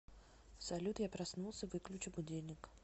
салют я проснулся выключи будильник